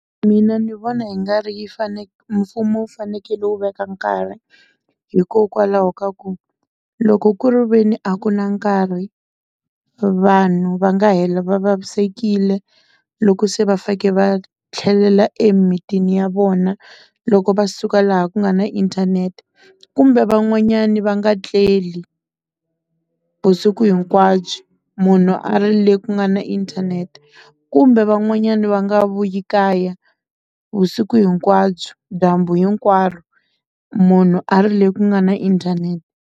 Mina ndzi vona hi nga ri yi mfumo wu fanekele wu veka nkarhi hikokwalaho ka ku loko kuriveni a ku na nkarhi vanhu va nga hela va vavisekile loko se vafanekele va tlhelela emimitini ya vona loko va suka laha ku nga na inthanete kumbe van'wanyani va nga tleli vusiku hinkwabyo munhu a ri le ku nga na inthanete kumbe van'wanyana va nga vuyi ekaya vusiku hinkwabyo dyambu hinkwaro munhu a ri le ku nga na inthanete.